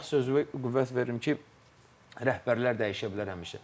Bayaq sözüvə qüvvət verdim ki, rəhbərlər dəyişə bilər həmişə.